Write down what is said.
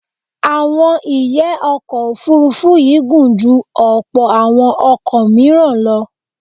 Àwọn ìyẹ́ ọkọ̀ Òfurufú yìí gùn ju ọ̀pọ̀ àwọn ọkọ̀ míràn lọ.